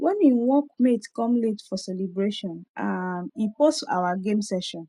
when him work mate come late for the celebration um e pause our gaming session